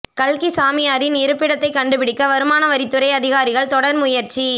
கல்கி சாமியாரின் இருப்பிடத்தை கண்டுபிடிக்க வருமான வரித்துறை அதிகாரிகள் தொடர் முயற்சி